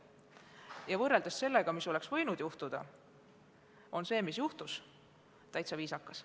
Ja võrreldes sellega, mis oleks võinud juhtuda, on see, mis juhtus, täitsa viisakas.